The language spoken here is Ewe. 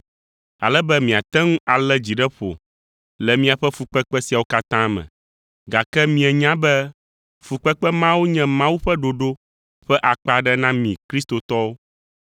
ale be miate ŋu alé dzi ɖe ƒo le miaƒe fukpekpe siawo katã me. Gake mienya be fukpekpe mawo nye Mawu ƒe ɖoɖo ƒe akpa aɖe na mi kristotɔwo.